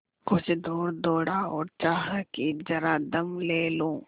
कुछ दूर दौड़ा और चाहा कि जरा दम ले लूँ